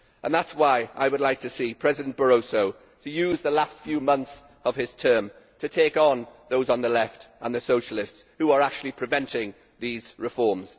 That is why I would like to see President Barroso use the last few months of his term to take on those on the left and the Socialists who are actually preventing these reforms.